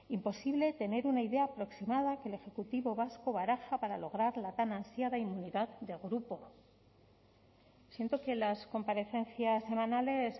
imposible tener una idea aproximada que el ejecutivo vasco baraja para lograr la tan ansiada inmunidad de grupo siento que las comparecencias semanales